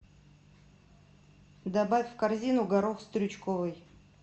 добавь в корзину горох стручковый